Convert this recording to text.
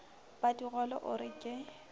ba digole o re ke